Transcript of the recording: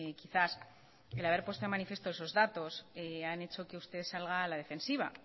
quizás el haber puesto de manifiesto esos datos han hecho que usted salga a la defensiva